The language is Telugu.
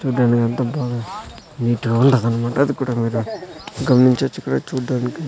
చూడ్డానికి ఎంత బాగా నీట్ గా ఉంటాది అన్నమాట అది కూడా మీరు గమనించవచ్చు ఇక్కడ చూడ్డానికి--